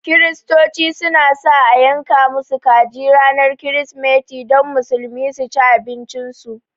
Kirsitoci su na sa a yanka musu kaji ranar kirismeti don Musulmi su ci abincin su